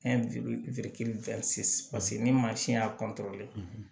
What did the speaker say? ni mansin y'a